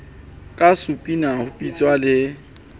ka supina ho bitswa le